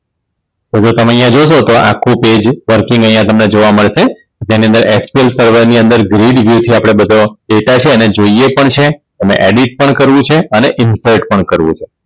તો હવે તમે અહીંયા જોસો તો આખું પેજ ફરીથી અહીંયા તમને જોવા મળશે જેની અંદર FTL ની સર્વરની અંદર ગ્રીલ વ્યુવ થી આપણે બધો data છે એને જોઈએ પણ છે અને Edit પણ કરવું છે. અને Incubate પણ કરવું છે.